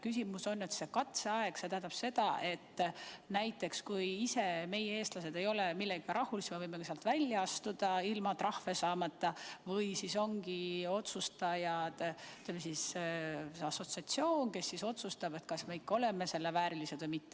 Küsimus on, et kas see katseaeg tähendab seda, et kui näiteks meie, eestlased, ise ei ole millegagi rahul, siis me võime sealt välja astuda ilma trahve saamata, või on otsustajaks assotsiatsioon, kes otsustab, kas me ikka oleme selle väärilised või mitte.